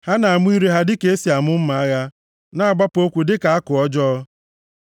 Ha na-amụ ire ha dịka e si amụ mma agha, na-agbapụ okwu dịka àkụ ọjọọ.